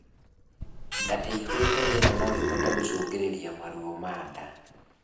Ndaa iihurite rĩera noĩhote gũcũngĩrĩrĩa maruo ma ndaa